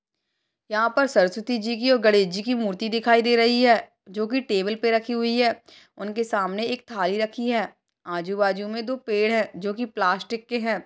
यहां पर सरस्वती जी की और गणेश जी की मूर्ति दिखाई दे रही है जो कि टेबल पर रखी हुई है उनके सामने एक थाली रखी है आजू-बाजू में दो पेड़ है जो कि प्लास्टिक के है।